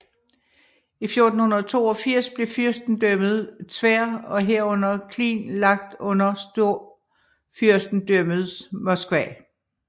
I 1482 blev fyrstedømmet Tver og herunder Klin lagt under Storfyrstendømmet Moskva